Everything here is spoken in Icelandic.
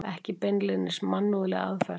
Ekki beinlínis mannúðleg aðferð!